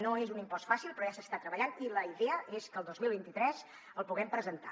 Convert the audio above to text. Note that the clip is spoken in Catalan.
no és un impost fàcil però ja s’hi està treballant i la idea és que el dos mil vint tres el puguem presentar